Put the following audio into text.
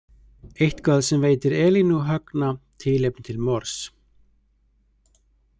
Eitthvað sem veitir Elínu og Högna tilefni til morðs?